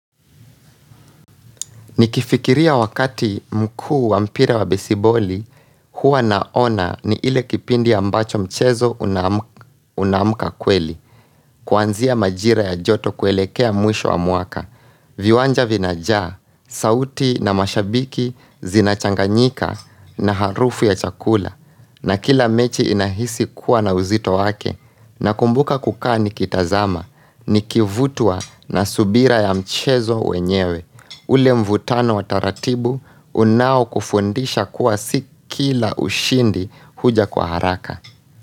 Nikifikiria wakati mkuu wa mpira wa besiboli, huwa naona ni ile kipindi ya ambacho mchezo unamuka kweli, kuanzia majira ya joto kuelekea mwisho wa mwaka, viwanja vinajaa, sauti na mashabiki, zinachanganyika na harufu ya chakula, na kila mechi inahisi kuwa na uzito wake, nakumbuka kukaa nikitazama, nikivutwa na subira ya mchezo wenyewe. Ule mvutano wa taratibu, unao kufundisha kuwa si kila ushindi huja kwa haraka.